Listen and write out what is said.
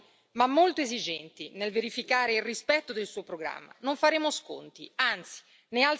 E lo premetto saremo leali ma molto esigenti nel verificare il rispetto del suo programma.